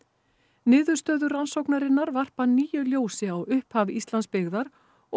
niðurstöður rannsóknarinnar varpa nýju ljósi á upphaf Íslandsbyggðar og